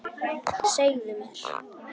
Segðu mér.